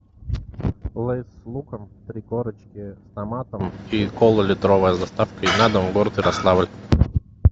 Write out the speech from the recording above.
лейс с луком три корочки с томатом и кола литровая с доставкой на дом город ярославль